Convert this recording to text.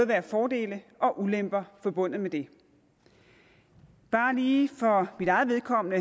være fordele og ulemper forbundet med det bare lige for mit eget vedkommende